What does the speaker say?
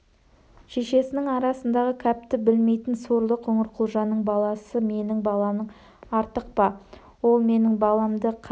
шешесінің арасындағы кәпті білмейтін сорлы қоңырқұлжаның баласы менің баламнан артық па ол менің баламды қан